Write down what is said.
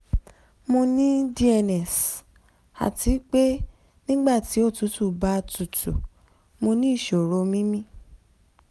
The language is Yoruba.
mo ní dns àti pé nígbà tí òtútù bá tutù mo ní ìṣòro mímí